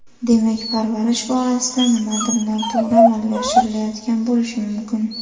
Demak, parvarish borasida nimadir noto‘g‘ri amalga oshirilayotgan bo‘lishi mumkin.